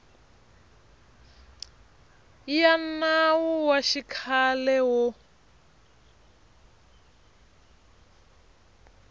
ya nawu wa xikhale wo